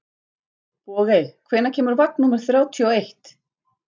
Bogey, hvenær kemur vagn númer þrjátíu og eitt?